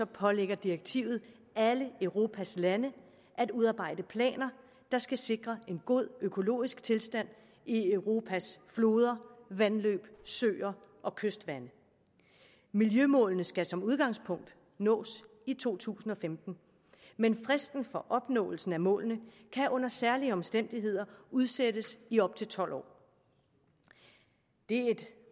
pålægger direktivet alle europas lande at udarbejde planer der skal sikre en god økologisk tilstand i europas floder vandløb søer og kystvande miljømålene skal som udgangspunkt nås i to tusind og femten men fristen for opnåelse af målene kan under særlige omstændigheder udsættes i op til tolv år det er et